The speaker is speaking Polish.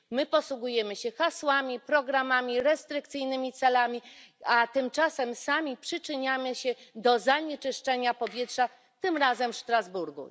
My posługujemy się hasłami, programami, restrykcyjnymi celami, a tymczasem sami przyczyniamy się do zanieczyszczenia powietrza, tym razem w Strasburgu.